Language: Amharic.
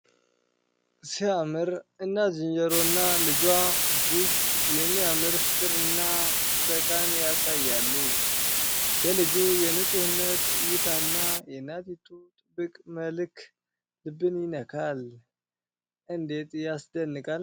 ሲያምር! እናት ዝንጀሮና ልጇ እጅግ የሚያምር ፍቅርና ጥበቃን ያሳያሉ ። የልጁ የንፁህነት እይታና የእናቲቱ ጥብቅ መልክ ልብን ይነካል። እንዴት ያስደንቃል!